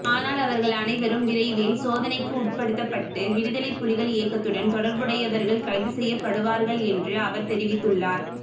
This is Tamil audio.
ஆனால் அவர்கள் அனைவரும் விரைவில் சோதனைக்கு உட்படுத்தப்பட்டு விடுதலைப் புலிகள் இயக்கத்துடன் தொடர்புடையவர்கள் கைது செய்யப்படுவார்கள் என்று அவர் தெரிவித்துள்ளார்